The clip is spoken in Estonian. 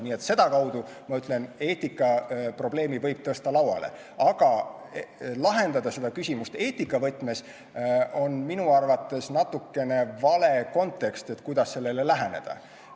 Nii et sedakaudu, ma ütlen, eetikaprobleemi võib tõsta lauale, aga lahendada seda küsimust eetika võtmes on minu arvates natukene vale kontekst, kuidas sellele läheneda.